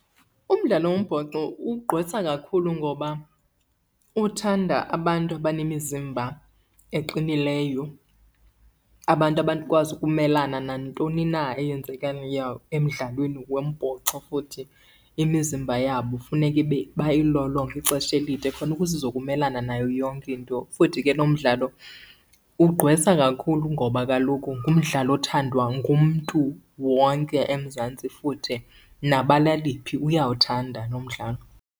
Umdlalo wombhoxo ugqwesa kakhulu ngoba uthanda abantu abanemizimba eqinileyo, abantu abakwazi ukumelana nantoni na eyenzekayo emdlalweni wombhoxo futhi imizimba yabo funeka ibe bayilolonge ixesha elide khona ukuze izokumelana nayo yonke into. Futhi ke lo mdlalo ugqwesa kakhulu ngoba kaloku ngumdlalo othandwa ngumntu wonke eMzantsi futhi nabala eliphi uyawuthanda lo mdlalo.